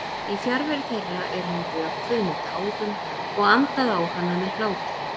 Í fjarveru þeirra er hún vökvuð með tárum og andað á hana hlátri.